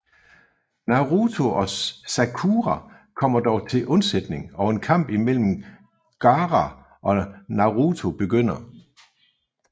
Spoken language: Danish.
Naruto og Sakura kommer dog til unsætning og en kamp imellem Gaara og Naruto begynder